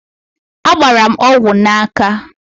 Agbara m ọgwụ n'aka